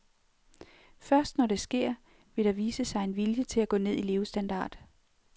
Først når det sker, vil der vise sig en vilje til at gå ned i levestandard.